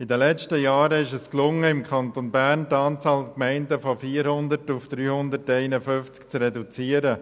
In den letzten Jahren ist es gelungen, im Kanton Bern die Anzahl der Gemeinden von 400 auf 351 zu reduzieren.